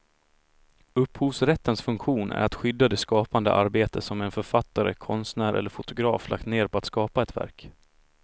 Upphovsrättens funktion är att skydda det skapande arbete som en författare, konstnär eller fotograf lagt ned på att skapa ett verk.